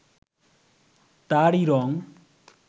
তারই রং